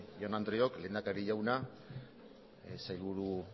jaun andreok lehendakari jauna sailburu